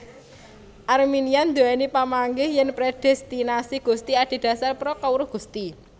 Arminian duwéni pamanggih yèn predestinasi Gusti adhedhasar pra kawruh Gusti